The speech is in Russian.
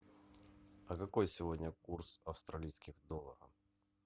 а какой сегодня курс австралийских долларов